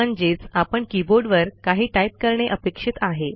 म्हणजेच आपण कीबोर्डवर काही टाईप करणे अपेक्षित आहे